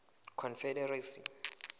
confederacy